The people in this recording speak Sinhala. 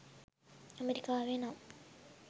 ඇමරිකාවේ නම්